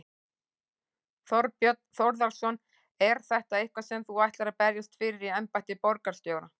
Þorbjörn Þórðarson: Er þetta eitthvað sem þú ætlar að berjast fyrir í embætti borgarstjóra?